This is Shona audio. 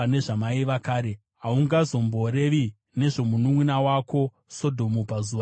Haungazomborevi nezvomununʼuna wako Sodhomu pazuva rokuzvikudza kwako,